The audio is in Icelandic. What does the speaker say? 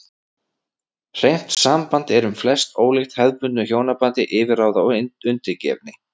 Hreint samband er um flest ólíkt hefðbundnu hjónabandi yfirráða og undirgefni.